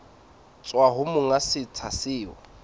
tswa ho monga setsha seo